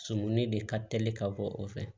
Sumuni de ka teli ka bɔ o fɛ